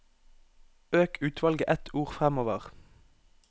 Øk utvalget ett ord framover